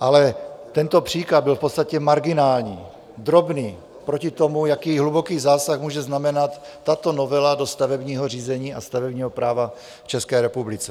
Ale tento příklad byl v podstatě marginální, drobný, proti tomu, jaký hluboký zásah může znamenat tato novela do stavebního řízení a stavebního práva v České republice.